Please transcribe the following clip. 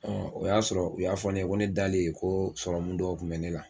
Ɔ o y'a sɔrɔ u y'a fɔ ne ye ko ne dalen ko sɔrɔmu dɔw kun be ne la